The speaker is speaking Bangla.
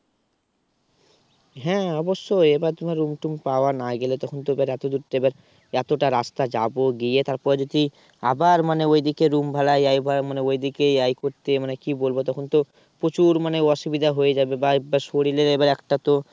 হ্যাঁ অবশ্যই এবার তোমার Room টুম পাওয়া নাই গেলে তখন তো এবার এত দূরত্ব এবার এতটা রাস্তা যাব গিয়ে তারপরে যদি আবার মানে ওদিকে Room ভাড়া এই ভাড়া। মানে ওই দিকে এই করতে মানে কি বলবো তখন তো প্রচুর অসুবিধা হয়ে যাবে। বাই বা শরীরের এবার একটা তো